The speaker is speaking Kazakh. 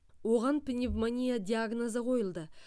оған пневмония диагнозы қойылды